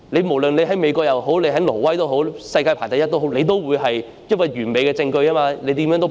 無論你身處美國或挪威或世界上排名第一的國家，你也無法反駁完美的證據因而被捕"。